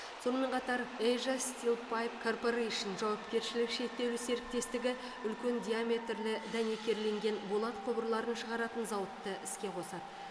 сонымен қатар эйжа стил пайп корпорэйшн жауапкершілігі шектеулі серіктестігі үлкен диаметрлі дәнекерленген болат құбырларын шығаратын зауытты іске қосады